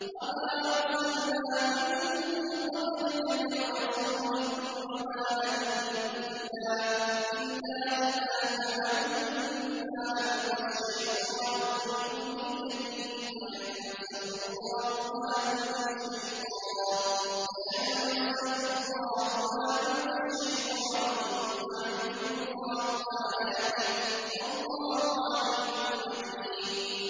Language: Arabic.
وَمَا أَرْسَلْنَا مِن قَبْلِكَ مِن رَّسُولٍ وَلَا نَبِيٍّ إِلَّا إِذَا تَمَنَّىٰ أَلْقَى الشَّيْطَانُ فِي أُمْنِيَّتِهِ فَيَنسَخُ اللَّهُ مَا يُلْقِي الشَّيْطَانُ ثُمَّ يُحْكِمُ اللَّهُ آيَاتِهِ ۗ وَاللَّهُ عَلِيمٌ حَكِيمٌ